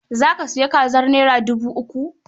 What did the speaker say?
Za ka sayi kazar naira dubu uku?